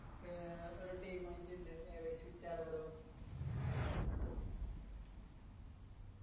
ഏർ ഒരു team ആയിട്ടുണ്ട്